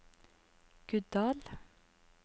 Guddal